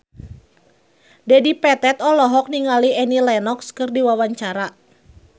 Dedi Petet olohok ningali Annie Lenox keur diwawancara